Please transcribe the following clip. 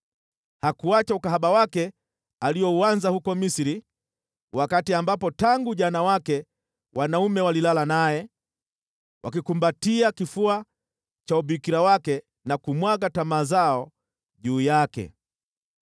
Hakuacha ukahaba wake aliouanza huko Misri, wakati ambapo tangu ujana wake wanaume walilala naye, wakikumbatia kifua cha ubikira wake na kumwaga tamaa zao juu yake.